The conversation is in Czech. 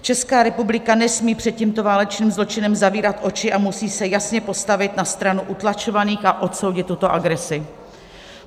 Česká republika nesmí před tímto válečným zločinem zavírat oči a musí se jasně postavit na stranu utlačovaných a odsoudit tuto agresi.